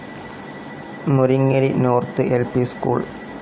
Muringeri north ൽ P school